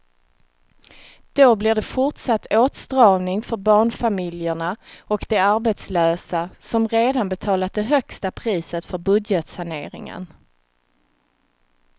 Då blir det fortsatt åtstramning för barnfamiljerna och de arbetslösa som redan betalat det högsta priset för budgetsaneringen.